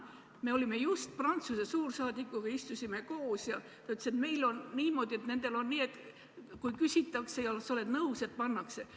Me just istusime Prantsuse suursaadikuga koos ja ta ütles, et nendel on nii, et kui küsitakse ja sa oled nõus, siis pannakse.